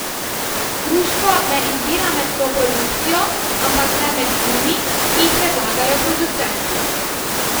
Društvo ne izbira med vso produkcijo, ampak le med filmi, ki jih predlagajo producenti.